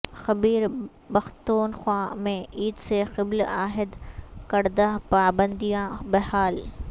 خیبر پختونخوا میں عید سے قبل عائد کردہ پابندیاں بحال